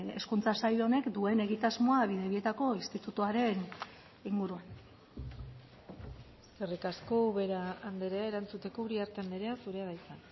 hezkuntza sail honek duen egitasmoa bidebietako institutuaren inguruan eskerrik asko ubera andrea erantzuteko uriarte andrea zurea da hitza